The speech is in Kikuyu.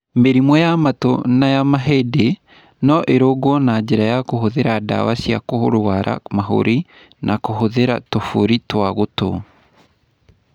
Mĩrimũ ya matũ na ya mahĩndĩ no ĩrũngwo na njĩra ya kũhũthĩra ndawa cia kũrũara mahũri na kũhũthĩra tũbũri twa gũtũ.